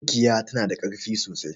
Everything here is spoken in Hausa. Mikiya tana da karfi sosai